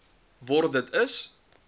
word dit is